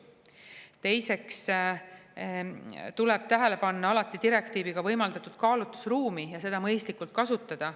Teiseks tuleb alati tähele panna direktiiviga võimaldatud kaalutlusruumi ja seda mõistlikult kasutada.